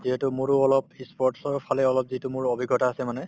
যিহেতু মোৰো অলপ ই sports ৰ ফালে অলপ যিটো মোৰ অভিজ্ঞতা আছে মানে